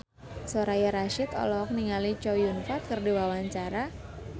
Soraya Rasyid olohok ningali Chow Yun Fat keur diwawancara